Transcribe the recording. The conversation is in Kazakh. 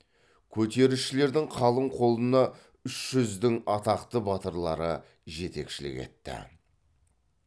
көтерісшілердің қалың қолына үш жүздің атақты батырлары жетекшілік етті